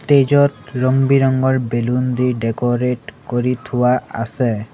Stage ত ৰং বিৰঙৰ বেলুন দি ডেক'ৰেট কৰি থোৱা আছে।